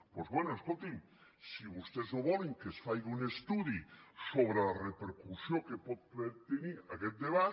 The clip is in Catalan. doncs bé escoltin si vostès no volen que es faci un estudi sobre la repercussió que pot tenir aquest debat